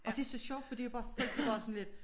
Og det er så sjovt fordi det er bare sådan lidt